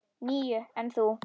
Níu, en þú?